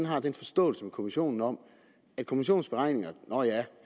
har en forståelse med kommissionen om at kommissionens beregninger nå ja